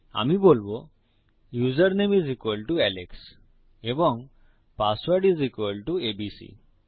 আমি বলবো username is equal to সমান আলেক্স এবং password is equal to ABC